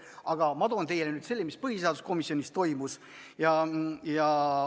Aga ma toon nüüd teieni selle, mis põhiseaduskomisjonis toimus.